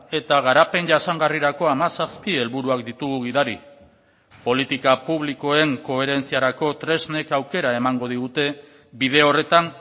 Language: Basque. eta garapen jasangarrirako hamazazpi helburuak ditugu gidari politika publikoen koherentziarako tresnek aukera emango digute bide horretan